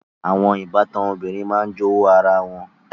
Àwọn ìbátan obìnrin máa ń jowú ara wọn